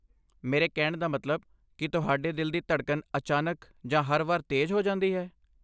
ਮੇਰੇ ਕਹਿਣ ਦਾ ਮਤਲਬ, ਕੀ ਤੁਹਾਡੇ ਦਿਲ ਦੀ ਧੜਕਣ ਅਚਾਨਕ ਜਾਂ ਹਰ ਵਾਰ ਤੇਜ਼ ਹੋ ਜਾਂਦੀ ਹੈ?